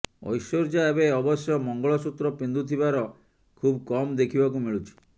ଐଶ୍ୱର୍ଯ୍ୟା ଏବେ ଅବଶ୍ୟ ମଙ୍ଗଳସୂତ୍ର ପିନ୍ଧୁଥିବାର ଖୁବ୍ କମ୍ ଦେଖିବାକୁ ମିଳୁଛି